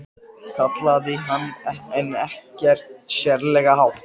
kallaði hann en ekkert sérlega hátt.